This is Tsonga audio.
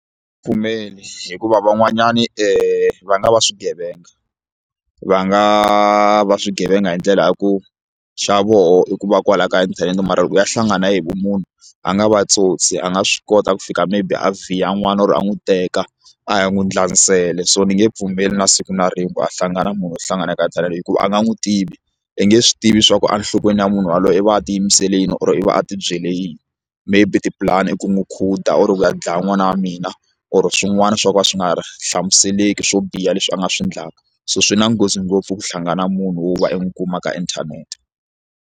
Pfumeli hikuva van'wanyani va nga va swigevenga va nga va swigevenga hi ndlela ya ku xa voho ikuva kwalaya ka inthanete mara loko u ya hlangana na yehe hi vumunhu a nga va tsotsi a nga swi kota ku fika maybe a vhiya n'wana or a n'wi teka a ya n'wi ndla nsele so ni nge pfumeli na siku na rin'we a hlangana munhu wo hlangana eka inthanete hikuva a nga n'wi tivi i nge swi tivi swa ku enhlokweni ya munhu yaloye i va a ti yimisele yini or i va a tibyele yini maybe tipulani i ku n'wi khuda or ku ya dlaya n'wana wa mina or swin'wana swo ka swi nga ri hlamuseleki swo biha leswi a nga swi ndlaka so swi na nghozi ngopfu ku hlangana munhu wo va u n'wi kuma ka inthanete.